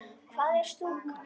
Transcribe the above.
Hvað er stúka?